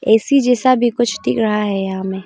AC जैसा भी कुछ डिख रहा है यहा में।